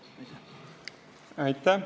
Aitäh!